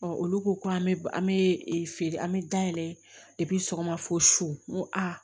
olu ko ko an bɛ an bɛ feere an bɛ dayɛlɛ sɔgɔma fo su n ko a